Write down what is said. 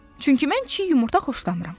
Çünki mən çiy yumurta xoşlamıram.